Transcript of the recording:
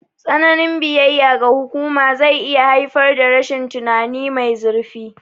Tsananin biyayya ga hukuma zai iya haifar da rashin tunani mai zurfi.